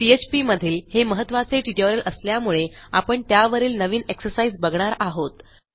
PHP मधील हे महत्त्वाचे ट्युटोरियल असल्यामुळे आपण त्यावरील नवीन एक्सरसाइज बघणार आहोत